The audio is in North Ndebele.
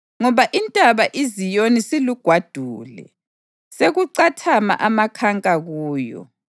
ngoba intaba iZiyoni silugwadule, sekucathama amakhanka kuyo.